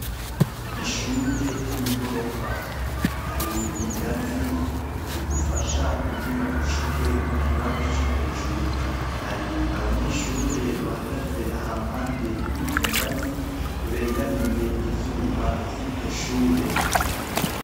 Ishure ryigorofa hari ingazi zigufasha kugira ushike mukibanza cohejuru hari abanyeshure bahagaze hampande yizongazi begamiye ivyuma vyiryoshure